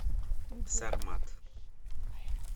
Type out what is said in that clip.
сармат